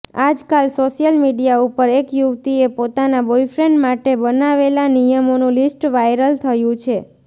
આજકાલ social media ઉપર એક યુવતીએ પોતાના બોયફ્રેન્ડ માટે બનાવેલા નિયમોનું લિસ્ટ વાયરલ થયું છે